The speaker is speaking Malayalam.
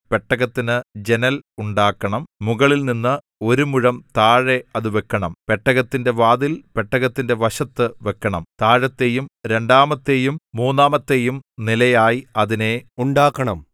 പെട്ടകത്തിന് ജനൽ ഉണ്ടാക്കണം മുകളിൽനിന്ന് ഒരു മുഴം താഴെ അത് വെക്കണം പെട്ടകത്തിന്റെ വാതിൽ പെട്ടകത്തിന്റെ വശത്ത് വെക്കണം താഴത്തെയും രണ്ടാമത്തെയും മൂന്നാമത്തെയും നിലയായി അതിനെ ഉണ്ടാക്കണം